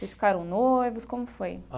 Vocês ficaram noivos, como foi?